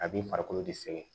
A b'i farikolo de sɛgɛn